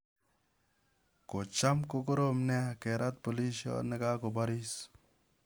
Ko cham kokoroom neea keraat polisioot nekagobaariis